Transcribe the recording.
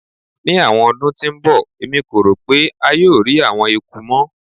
Ni awọn ọdun ti n bọ Emi ko ro pe a yoo rii awọn eku mọ